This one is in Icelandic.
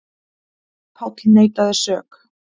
Páll neitaði sök.